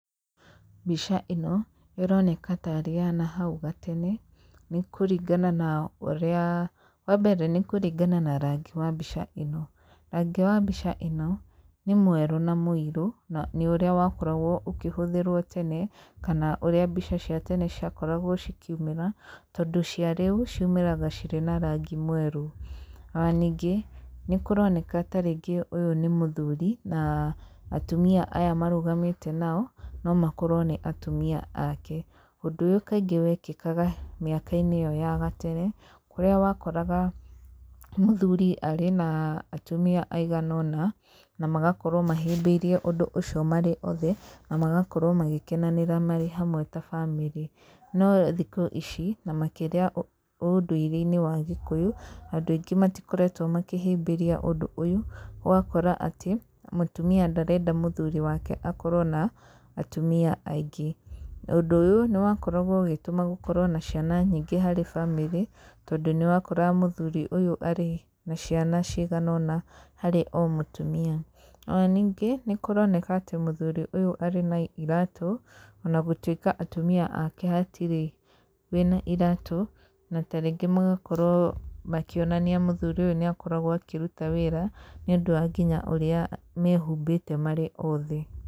Mbica ĩno, ĩroneka tarĩ ya nahau gatene, nĩ kũringana na ũrĩa, wambere nĩ kũringa na rangi wa mbica ĩno, rangi wa mbica ĩno nĩ mwerũ na mũirũ, na nĩ ũríĩ wakoragwo ũkĩhũthĩrwo tene, kana ũrĩa mbica cia tene ciakoragwo cikiumĩra, tondũ cia rĩu ciumĩraga cirĩ na rangi mwerũ. Ona ningĩ nĩ kũroneka ta rĩngĩ ũyũ nĩ mũthuri na atumia aya marũgamĩte nao, no makorwo nĩ atumia ake. Ũndũ ũyũ kaingĩ wekĩkaga mĩaka-inĩ ĩyo ya gatene, kũrĩa wakoraga mũthuri arĩ na atumia aigana ũna, na magakorwo mahĩmbĩirie ũndũ ũcio marĩ othe, na magakorwo magĩkenanĩra marĩ hamwe ta bamĩrĩ. No thikũ ici ni makĩria ũndũire-inĩ wa Gĩkũyũ, andũ aingĩ matikoretwo makĩhĩmbĩria ũndũ ũyũ, ũgakora atĩ, mũtumia ndarenda mũthuri wake akorwo na atumia aingĩ, ũndũ ũyũ nĩ wakoragwo ũgĩtũma gũkorwo na ciana nyingĩ harĩ bamĩrĩ, tondũ nĩ wakoraga mũthuri ũyũ arĩ na ciana cigana ũna harĩ o mũtumia, ona ningĩ nĩkũroneka atĩ mũthuri ũyũ arĩ na iratũ, ona gũtuĩka atumia ake hatirĩ wĩna iratũ, na ta rĩngĩ magakorwo makĩonania mũthuri ũyũ nĩ akoragwo akĩruta wĩra, nĩ ũndũ wa nginya ũrĩa mehumbĩte marĩ othe.